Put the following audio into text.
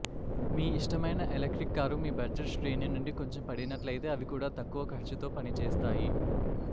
మీ ఇష్టమైన electric car మీ budget శ్రేణి నుండి కొంచెం పడినట్లయితే అవి కూడా తక్కువ ఖర్చుతో పనిచేస్తాయి